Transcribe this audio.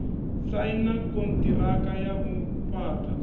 saina konṱiraka ya u fhaṱa